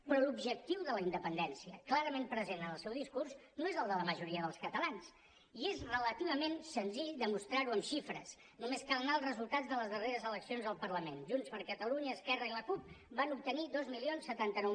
però l’objectiu de la independència clarament present en el seu discurs no és el de la majoria dels catalans i és relativament senzill demostrar ho en xifres només cal anar als resultats de les darreres eleccions al parlament junts per catalunya esquerra i la cup van obtenir dos mil setanta nou